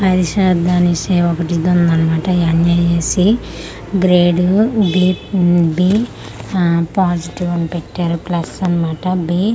పరిషద్ అనేసి ఒకటి ఇదుందన్న మాట ఎన్.ఐ.ఏ.సి. గ్రేడు-బి ఉమ్ బి ఆ పాజిటివ్ అని పెట్టారు ప్లస్ అన్నమాట బి .